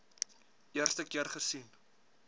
eerste keer gesien